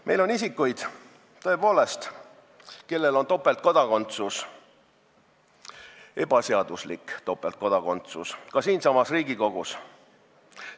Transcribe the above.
Meil on tõepoolest isikuid, kellel on ebaseaduslik topeltkodakondsus, ka siinsamas Riigikogus.